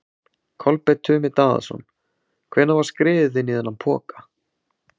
Kolbeinn Tumi Daðason: Hvenær var skriðið inn í þennan poka?